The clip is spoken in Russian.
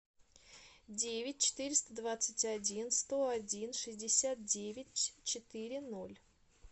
девять четыреста двадцать один сто один шестьдесят девять четыре ноль